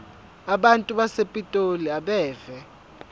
abantu basepitoli abeve